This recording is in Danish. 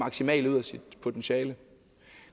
maksimale ud af sit potentiale